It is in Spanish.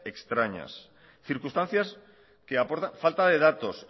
extrañas circunstancias que aporta falta de datos